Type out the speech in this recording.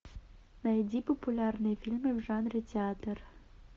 найди популярные фильмы в жанре театр